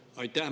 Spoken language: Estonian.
Aitäh!